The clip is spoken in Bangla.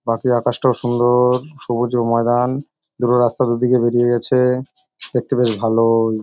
বাকি আকাশটাও সুন্দ-ও-ও-র সবুজে ময়দান। দুটো রাস্তা দু দিকে বেরিয়ে গেছে-এ দেখতে বেশ ভাল-ও-ও-ই ।